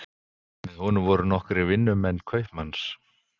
Með honum voru nokkrir vinnumenn kaupmanns.